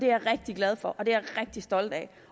jeg rigtig glad for og det er jeg rigtig stolt af